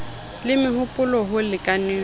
le meho polo ho lekaneng